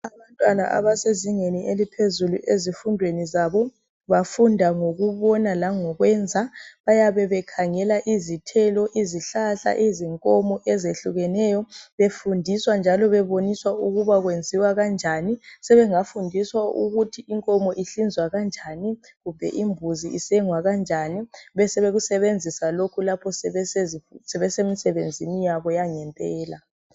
Abantwana abasezingeni eliphezulu ezifundweni zabo. Bafunda ngokubona langokwenza. Bayabe bekhangela izithelo, izihlahla izinkomo eyehlukeneyo. Befundiswa njalo beboniswa ukuba okwenziwa kanjani. Sebengafundiswa ukuthi inkomo ihlinzwa kanjani. Kumbe imbuzo isengwa kanjani. Besebeku sebenzisa lokho sebese msebenzini yabo yangempela.